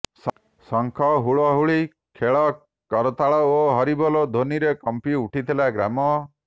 ଶଙ୍ଖ ହୁଳହୁଳି ଖୋଳ କରତାଳ ଓ ହରିବୋଲ ଧ୍ୱନିରେ କମ୍ପି ଉଠିଥିଲା ଗ୍ରାମ